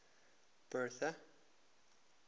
bertha